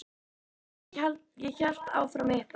Og já, ég hélt áfram að hitta hana.